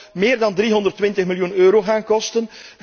Dat zou meer dan 320 miljoen euro gaan kosten.